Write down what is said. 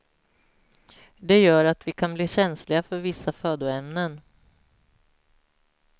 Det gör att vi kan bli känsliga för vissa födoämnen.